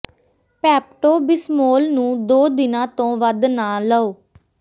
Pepto Bismol ਨੂੰ ਦੋ ਦਿਨਾਂ ਤੋਂ ਵੱਧ ਨਾ ਲਓ